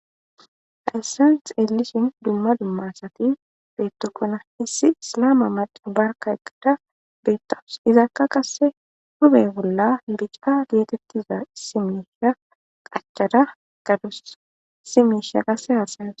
hayyssan xeelishin dumma dumma asati beettokkona issi isalama macay barka egada beettawus izaakka qasse hube bolla bica giatettiza simiisha qachada gadus isi miisha qasse haasa'awus